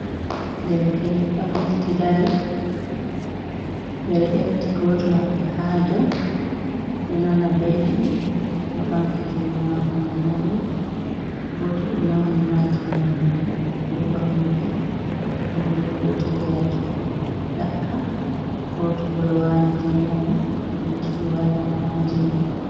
Derke’en ɗo mofti dari ɓeɗo efti goto maɓɓe ha dou, ɗo nana belɗum oɗo ɓanti jungo mako mai ha dou goto ɗo mauni ha jungo mako oɗo ɓorni ves goto bo ɗo jogi rake nyaka goto bo ɗo wati jumpa mun oɗo jogi waya mako ha jungo.